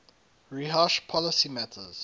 rehash policy matters